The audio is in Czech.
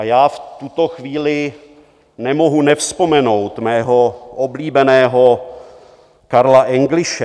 A já v tuto chvíli nemohu nevzpomenout svého oblíbeného Karla Engliše.